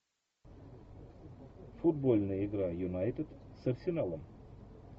футбольная игра юнайтед с арсеналом